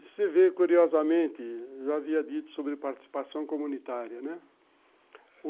Você vê, curiosamente, eu já havia dito sobre participação comunitária, né?